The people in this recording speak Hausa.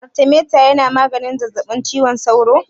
Artemeta yana magance zazzaɓin cizon sauro?